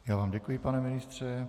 Já vám děkuji, pane ministře.